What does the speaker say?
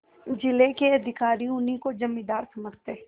जिले के अधिकारी उन्हीं को जमींदार समझते